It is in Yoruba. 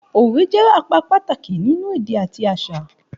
Òwe jẹ́ apá pàtàkì nínú èdè àti àṣà